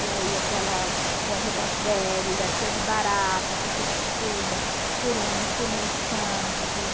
E aí aquela cômoda velha, cheia de barata, foi substituída por um por uma estante.